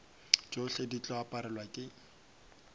tšohle di tlo aparelwa ke